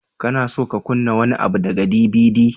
Kana so ka kunna wani abu daga DVD?